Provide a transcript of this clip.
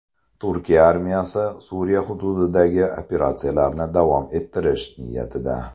Turkiya armiyasi Suriya hududidagi operatsiyalarni davom ettirish niyatida.